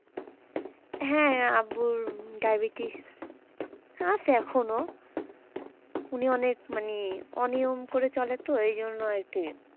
হ্যাঁ আব্বুর diabetes আছে এখনও উনি অনেক মানে অনিয়ম করে চলে তো এইজন্য আরকি,